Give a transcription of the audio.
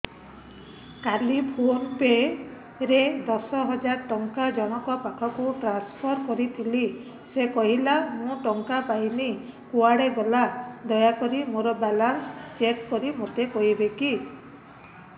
କାଲି PhonePe ରେ ଦଶ ହଜାର ଟଙ୍କା ଜଣକ ପାଖକୁ ଟ୍ରାନ୍ସଫର୍ କରିଥିଲି ସେ କହିଲା ମୁଁ ଟଙ୍କା ପାଇନି କୁଆଡେ ଗଲା ଦୟାକରି ମୋର ବାଲାନ୍ସ ଚେକ୍ କରି ମୋତେ କହିବେ କି